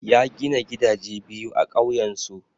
Ya gina gidaje biyu a ƙauyensu.